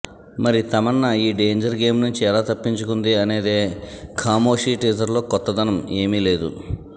మరి తమన్నా ఈ danger game నుంచి ఎలా తప్పించుకుంది అనేదే ఖామోషి టీజర్లో కొత్తదనం ఏమి లేదు